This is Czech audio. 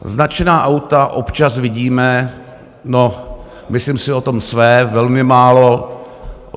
Značená auta občas vidíme - no, myslím si o tom své - velmi málo.